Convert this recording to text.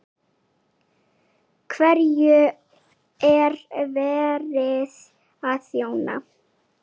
Hverjum er verið að þjóna?